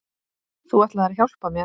Þú ætlaðir að hjálpa mér.